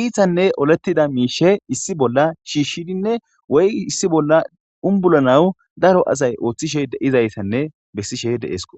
iitanne olettida miishe issi bolla shiishshidinne woy issi bolla unbulanawu daro asay ooththishe deizayssanne bessishe de7esko